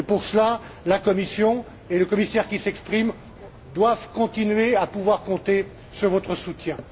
Pour cela, la Commission et le commissaire qui s'exprime doivent continuer à pouvoir compter sur votre soutien.